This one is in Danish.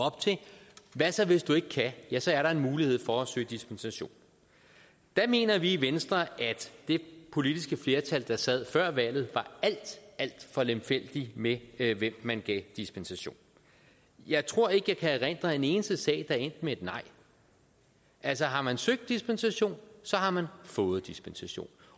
hvad så hvis du ikke kan ja så er der en mulighed for at søge dispensation der mener vi i venstre at det politiske flertal der sad før valget var alt alt for lemfældige med med hvem man gav dispensation jeg tror ikke jeg kan erindre en eneste sag er endt med et nej altså har man søgt dispensation har man fået dispensation